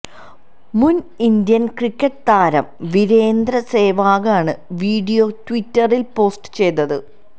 മുന് Indian cricket താരം വീരേന്ദര് സെവാഗാണ് വീഡിയോ ട്വിറ്ററില് പോസ്റ്റ് ചെയ്തത്